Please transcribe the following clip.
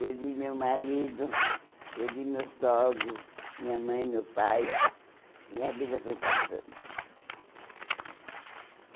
Perdi meu marido, perdi meus sogros, minha mãe, meu pai, e a vida foi passando.